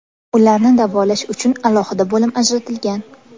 Ularni davolash uchun alohida bo‘lim ajratilgan.